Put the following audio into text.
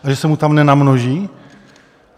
A že se mu tam namnoží?